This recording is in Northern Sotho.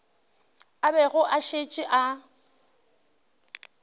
a bego a šetše a